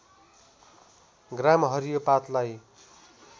ग्राम हरियो पातलाई